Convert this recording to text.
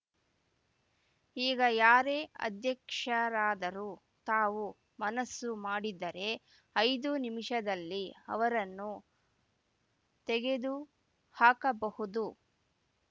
ಈಗ ಯಾರೇ ಅಧ್ಯಕ್ಷರಾದರೂ ತಾವು ಮನಸ್ಸು ಮಾಡಿದರೆ ಐದು ನಿಮಿಷದಲ್ಲಿ ಅವರನ್ನು ತೆಗೆದುಹಾಕಬಹುದು